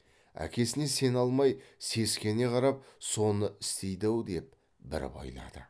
әкесіне сене алмай сескене қарап соны істейді ау деп бір байлады